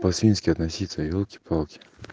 по-свински относиться ёлки-палки